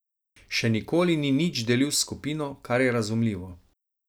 Še nikoli ni nič delil s skupino, kar je razumljivo.